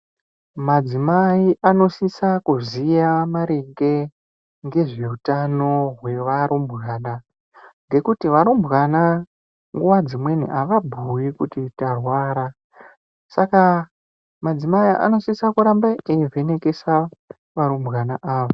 Madzimai anosisa kuziva kuziva maringe nezve uyano ngekuti varumbwana nguva dzimweni havabhuyi kuti ndarwara saka madzimai anosisa kuramba eyi vhenekesa varumbwana ava.